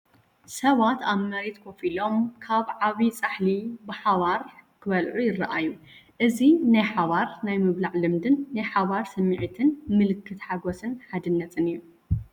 ሰባት ኣብ መሬት ኮፍ ኢሎም ካብ ዓቢ ጻሕሊ ብሓባር ክበልዑ ይረኣዩ። እዚ ናይ ሓባር ናይ ምብላዕ ልምድን ናይ ሓባር ስምዒትን ምልክት ሓጎስን ሓድነትን እዩ።